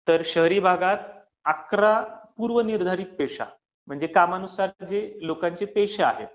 तर शहरी भागात, अकरा पूर्व निर्धारित पेशा, म्हणजे कामानुसार लोकांचे जे पेशा आहेत